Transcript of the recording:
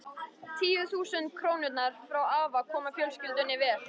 Tíu þúsund krónurnar frá afa koma fjölskyldunni vel.